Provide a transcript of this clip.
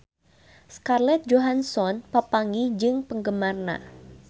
Scarlett Johansson papanggih jeung penggemarna